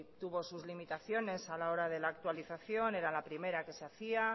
tuvo sus limitaciones a la hora de la actualización era la primera que se hacía